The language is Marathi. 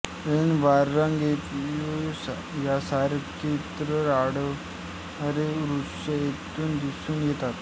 ऐन वारंग एरिओलिना यासारखे इतरत्र न आढळ्णारे वृक्ष येथे दिसून येतात